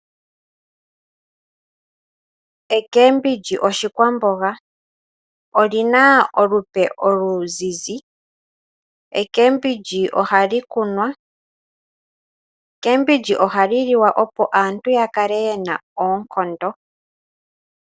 Omboga oshikwamboga. Oyi na olwaala oluzizi. Omboga ohayi kunwa. Omboga ohayi liwa opo aantu ya kale ye na oonkondo.